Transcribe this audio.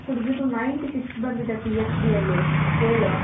ಹುಡುಗಿದು Ninety Six ಬಂದಿದೆ PHDಯಲ್ಲಿ scale